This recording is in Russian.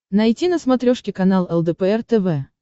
найти на смотрешке канал лдпр тв